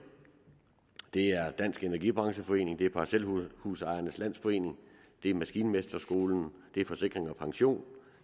det er dansk energi brancheforening det er parcelhusejernes landsforening det er maskinmesterskolen det er forsikring pension